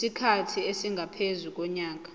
isikhathi esingaphezu konyaka